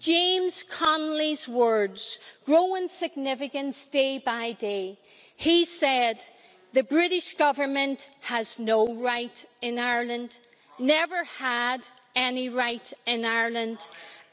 James Connolly's words grow in significance day by day. He said The British Government has no right in Ireland, never had any right in Ireland